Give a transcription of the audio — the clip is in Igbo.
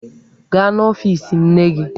Gaa n'ọfiisi nne gị!